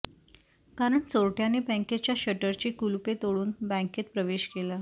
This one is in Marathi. कारण चोरट्यांनी बँकेच्या शटरची कुलुपे तोडून बँकेत प्रवेश केला